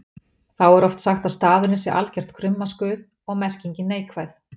Þá er oft sagt að staðurinn sé algert krummaskuð og merkingin neikvæð.